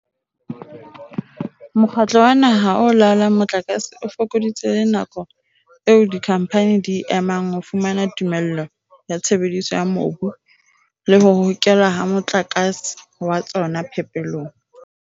Mokgatlo wa Naha o Laolang Motlakase o fokoditse le nako eo dikhamphane di e emang ho fumana tumello ya tshebediso ya mobu le ho hokelwa ha motlakase wa tsona phepelong.